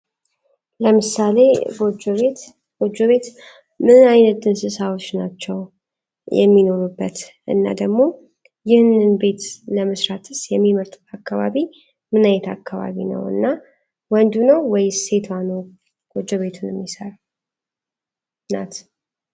ለምሳሌ ጎጆ ቤት ምንን ዓይነድ እንስሳዎች ናቸው የሚኖሩበት እና ደግሞ ይህንን ቤት ለመስራትስ የሚመርጡ አካባቢ ምናይት አካባቢ ነው እና ወንዱ ነው ወይ ሴቷ ኖ ጎጆ ቤቱን የሚሰጥር ናት፡፡